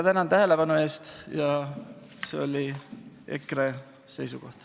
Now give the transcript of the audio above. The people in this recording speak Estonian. Selline on EKRE seisukoht.